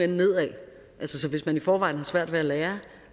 nedad her så hvis man i forvejen har svært ved at lære